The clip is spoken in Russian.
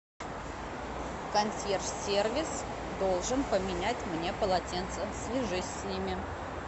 консьерж сервис должен поменять мне полотенца свяжись с ними